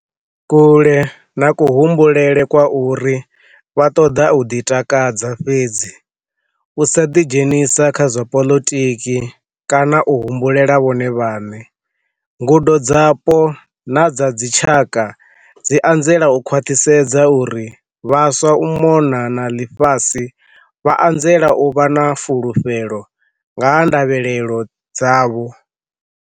Kule na kuhumbulele kwa uri vha ṱoḓa u ḓitakadza fhedzi, u sa ḓidzhenisa kha zwa poḽotiki kana u humbulela vhone vhaṋe, ngudo dzapo na dza dzitshaka dzi anzela u khwaṱhisedza uri vhaswa u mona na ḽifhasi vha anzela u vha na fulufhelo nga ha ndavhelelo dzavho.